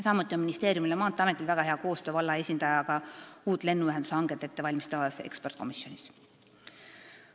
Samuti on ministeeriumil ja Maateeametil väga hea koostöö valla esindajaga uut lennuühendushanget ettevalmistavas ekspertkomisjonis.